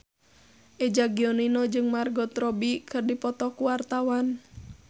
Eza Gionino jeung Margot Robbie keur dipoto ku wartawan